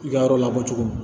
I ka yɔrɔ lakodugu